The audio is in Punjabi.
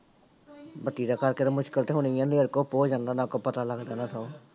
ਬੱਤੀ ਦੇ ਕਰਕੇ ਤਾਂ ਮੁਸ਼ਕਲ ਤਾਂ ਹੋਣੀ ਆ, ਹਨੇਰ ਘੁੱਪ ਹੋ ਜਾਂਦਾ, ਨਾ ਕੋ ਪਤਾ ਲੱਗਦਾ ਨਾ ਥਹੁੰ।